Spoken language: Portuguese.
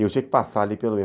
eu sempre passava ali